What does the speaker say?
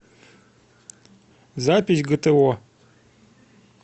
запись гто